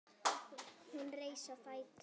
Hún reis á fætur.